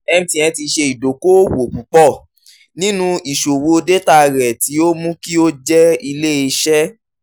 mtn ti ṣe idoko-owo pupọ ninu iṣowo data rẹ ti o mu ki o jẹ ile-iṣẹ